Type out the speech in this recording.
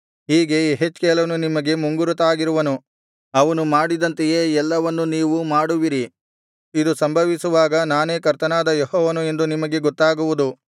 ಹೀಗೆ ಯೆಹೆಜ್ಕೇಲನು ನಿಮಗೆ ಮುಂಗುರುತಾಗಿರುವನು ಅವನು ಮಾಡಿದಂತೆಯೇ ಎಲ್ಲವನ್ನು ನೀವು ಮಾಡುವಿರಿ ಇದು ಸಂಭವಿಸುವಾಗ ನಾನೇ ಕರ್ತನಾದ ಯೆಹೋವನು ಎಂದು ನಿಮಗೆ ಗೊತ್ತಾಗುವುದು